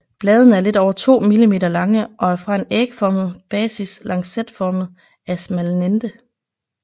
Bladene er lidt over 2 mm lange og er fra en ægformet basis lancetformet afsmalnende